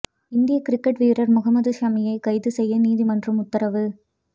இந்திய கிரிக்கெட் வீரர் முகமது ஷமியை கைது செய்ய நீதிமன்றம் உத்தரவு